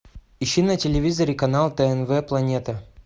ищи на телевизоре канал тнв планета